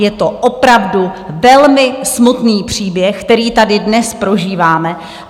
Je to opravdu velmi smutný příběh, který tady dnes prožíváme.